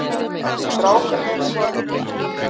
Af því strákarnir eru farnir.